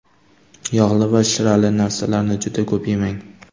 Yog‘li va shirali narsalarni juda ko‘p yemang.